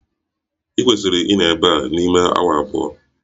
Ị kwesiri ịnọ ebe a n'ime awa abụọ!